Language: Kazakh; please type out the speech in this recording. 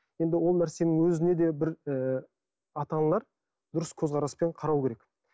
енді ол нәрсенің өзіне де бір ы ата аналар дұрыс көзқараспен қарау керек